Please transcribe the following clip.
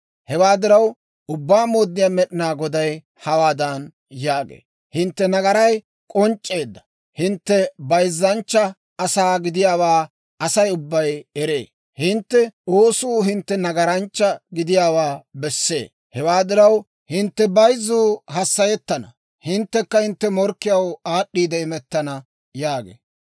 «Hewaa diraw, Ubbaa Mooddiyaa Med'inaa Goday hawaadan yaagee; ‹Hintte nagaray k'onc'c'eedda; hintte bayzzanchcha asaa gidiyaawaa Asay ubbay eree; hintte oosuu hintte nagaranchcha gidiyaawaa bessee. Hewaa diraw, hintte bayzzuu hassayettana; hinttekka hintte morkkiyaw aad'd'iide imettana› yaagee.